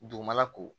Dugumala ko